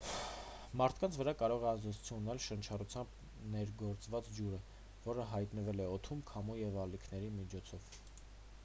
մարդկանց վրա կարող է ազդեցություն ունենալ շնչառությամբ ներգործված ջուրը որը հայտնվել է օդում քամու և ալիքների միջոցով